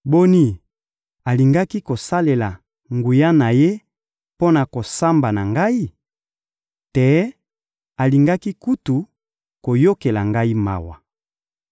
Boni, alingaki kosalela nguya na Ye mpo na kosamba na ngai? Te, alingaki kutu koyokela ngai mawa!